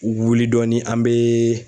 wuli dɔɔni an bɛ